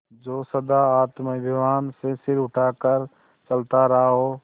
जो सदा आत्माभिमान से सिर उठा कर चलता रहा हो